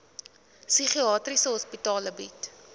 psigiatriese hospitale bied